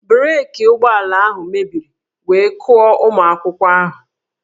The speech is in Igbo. Breeki ụgbọala ahụ mebiri wee kụọ ụmụ akwụkwọ ahụ